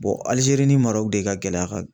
Alijeri ni Marɔku de ka gɛlɛya ka